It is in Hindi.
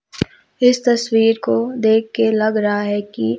इस तस्वीर को देख के लग रहा है की--